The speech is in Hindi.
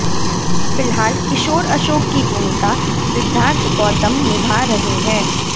फिलहाल किशोर अशोक की भूमिका सिद्धार्थ गौतम निभा रहे हैं